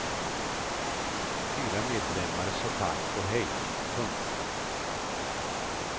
Fyra medlemmar sa tack och hej. punkt